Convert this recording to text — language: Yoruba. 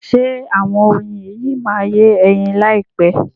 Ṣe àwọn oyin yìí máa yé ẹyin láyìpẹ́?